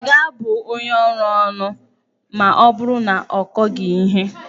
A ga-abụ onye ọrụ ónù ma ọ bụrụ na ọ kọghị ihe?